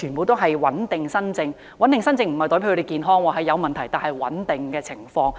所謂"穩定新症"，並非指病人身體健康，而是有問題但情況穩定。